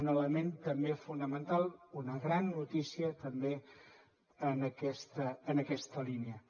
un element també fonamental una gran notícia també en aquesta línia